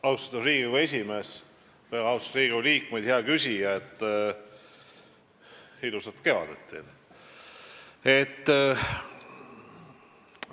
Austatud Riigikogu esimees, väga austatud Riigikogu liikmed, hea küsija, ilusat kevadet teile!